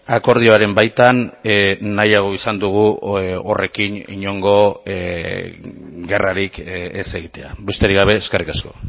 akordioaren baitan nahiago izan dugu horrekin inongo gerrarik ez egitea besterik gabe eskerrik asko